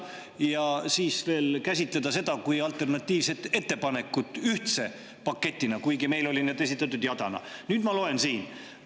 Ja siis veel käsitleti seda alternatiivset ettepanekut ühtse paketina, kuigi meil oli see esitatud jadana.